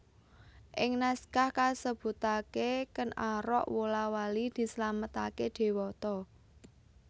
Ing naskah kasebutaké Kèn Arok wola wali dislametaké dewata